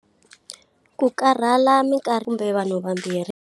Ku karhala kumbe vanhu vambirhi.